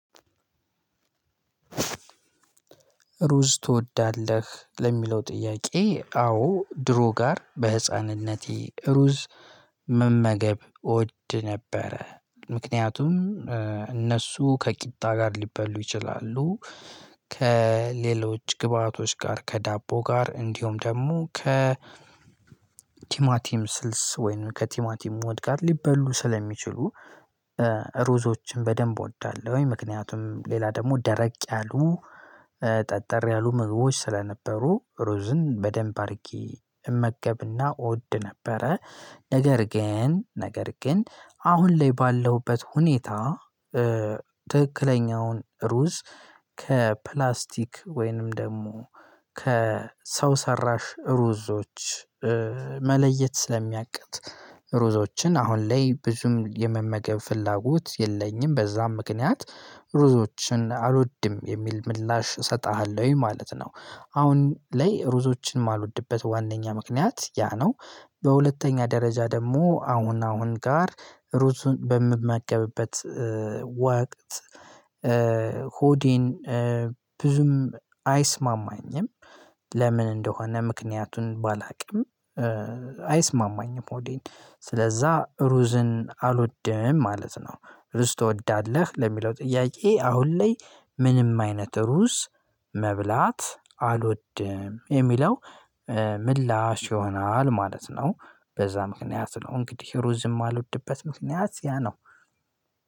ሩዝ ትወዳለህ? ለሚለው ጥያቄ አዎ ድሮ ጋር በህፃንነቴ ሩዝ መመገብ እወድ ነበረ። ምክንያቱም እነሱ ከቂጣ ጋር ሊበሉ ይችላሉ ከሌሎች ግብአቶች ጋር ከዳቦ ጋር እንዲሁም ደግሞ ከ ቲማቲም ስልስ ወይንም ከቲማቲም ወጥ ጋር ሊበሉ ስለሚችሉ ሩዞችን በደንብ እወዳለሁኝ። ምክንያቱም ሌላ ደግሞ ደረቅ ያሉ ጠጠር ያሉ ምግቦች ስለነበሩ ሩዝን በደንብ አድርጌ እመገብና እወድ ነበረ። ነገር ግን ነገር ግን አሁን ላይ ባለሁበት ሁኔታ ትክክለኛውን ሩዝ ከፕላስቲክ ወይንም ደግሞ ከሰው ሰራሽ ሩዞች መለየት ስለሚያቅት ሩዞዎችን አሁን ላይ ብዙም የመመገብ ፍላጎት የለኝም። በዛም ምክንያት ሩዞችን አልወድም የሚል ምላሽ እሰጥሃለሁኝ ማለት ነው። አሁን ላይ ሩዞችን የማልወድበት ዋናኛ ምክንያት ያ ነው። በሁለተኛ ደረጃ ደግሞ አሁን አሁን ጋር ሩዙን በምመገብበት ወቅት ሆዴን ብዙም አይስማማኝም። ለምን እንደሆነ ምክንያቱን ባላውቅም አይስማማኝም ሆዴን። ስለዛ ሩዝን አልወደም ማለት ነው። ሩዝ ትወዳለህ? ለሚለው ጥያቄ አሁን ላይ ምንም አይነት ሩዝ መብላት አልወድም የሚለው ምላሽ ይሆናል ማለት ነው። በዛ ምክንያት ነው እንግዲህ ሩዝ የማልወድበት ምክንያት ያ ነው።